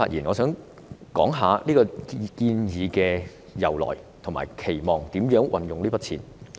我想講述這建議的由來，以及我們期望如何運用這筆款項。